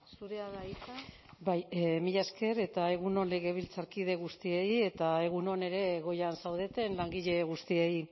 zurea da hitza bai mila esker eta egun on legebiltzarkide guztiei eta egun on ere goian zaudeten langile guztiei